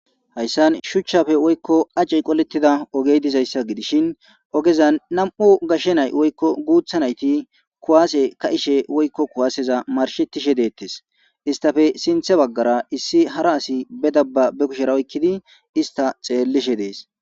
Hayissan shuchchappe woyikko aceyi qoletida ogeyi dizayisa gidishshin ogezanni nam''u nayitti kuwase ka'ishshe woyikko kuwaseza marishshetishe detes.isitappe sinththe bagara hara asi bee daba be kushshera oyikkidi xellishshe dees.